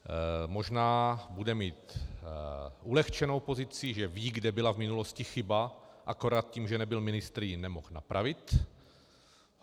Možná bude mít ulehčenou pozici, že ví, kde byla v minulosti chyba, akorát tím, že nebyl ministr, ji nemohl napravit.